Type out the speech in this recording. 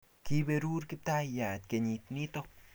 kiiberuron Kiptayat kenyit nito